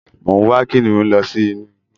Mo ń wá kìnnìún lọ sí inú igbó